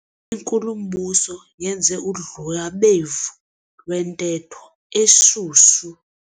Inkulumbuso yenze udlwabevu lwentetho eshushu.